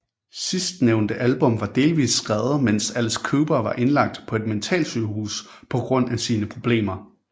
Sidsnævnte album var delvist skrevet mens Alice Cooper var indlagt på et mentalsygehus på grund af sine problemer